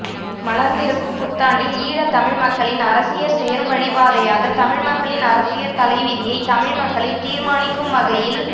மலர்ந்திருக்கும் புத்தாண்டில் ஈழத்தமிழ் மக்களின் அரசியற் செயல்வழிப்பாதையாக தமிழ்மக்களின் அரசியற் தலைவிதியைத் தமிழ்மக்களே தீர்மானிக்கும் வகையில்